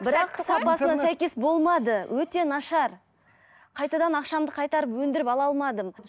бірақ сапасына сәйкес болмады өте нашар қайтадан ақшамды қайтарып өндіріп ала алмадым